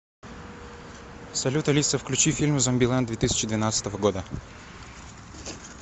салют алиса включи фильм зомбилэнд две тысячи двенадцатого года